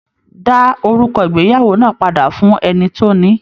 Dá òrùka ìgbéyàwó náà padà fún ẹni tó ní!